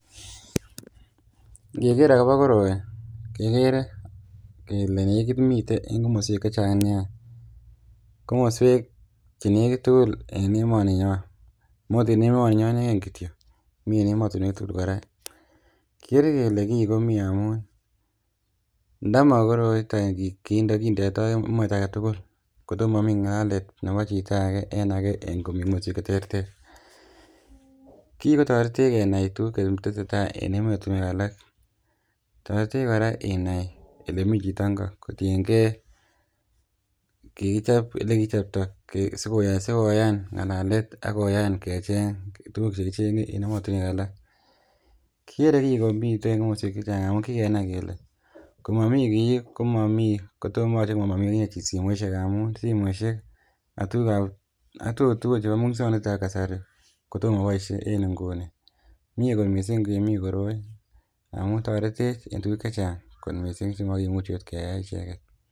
ngeker akobo koroi kekere kele nekit miten en komoswek chechang nia, komoswek chenekit tugul en emoninyon mo ot en emoninyon ineken kityo mi en emotinwek tugul kora. kikere kele kiii komii amun ndamokoroiton kinde kindeot komosta aketugul kondomomii ng'alalet nebo chito ake en ake en komoswek cheterter. kii kotoretech kenai tuguk cheteseta en emotinwek alak, toretech kora inai elemii chito ngo kotiengee kikichop elekikichopto sikoyan ng'alalet ak koyan kecheng tuguk chekicheng'e en emotinwek alak. Kikere kii komiten komoswek chechang amun kikenai kele komomii kii komomii kotomoyoche komomii akichek simoisiek amun simoisiek ak tugukab ak tuguk tugul chebo muswongnotetab kasari ko to moboisie en nguni mie kot misssing komiii koroi amun toretech en tuguk chechang kot misssing chemokimuchi ot keyai echeken